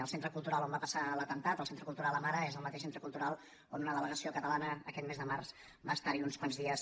el centre cultural on va passar l’atemptat el centre cultural amara és el mateix centre cultural on una delegació catalana aquest mes de març va treballar uns quants dies